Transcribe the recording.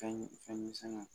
Fɛn ɲimi fɛn misɛnnin